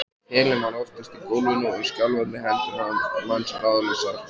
Pelinn var oftast í gólfinu og skjálfandi hendur manns ráðlausar.